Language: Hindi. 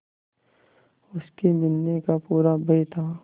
उसके मिलने का पूरा भय था